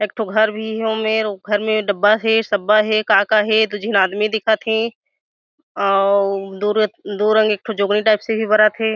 एक ठो घर भी हे ओमेर उ घर में डब्बा हे सब्बा हे का का हे दो झीन आदमी दिखत हे अउ दो रंग दो रग एक ठो जुगनू टाइप से भी बरत थे--